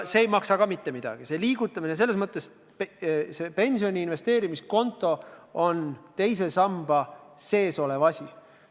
Selline raha liigutamine ei maksa mitte midagi, pensioni investeerimiskonto on teise samba sees olev asi.